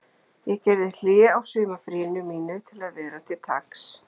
Ég gerði hlé á sumarfríinu mínu til að vera til taks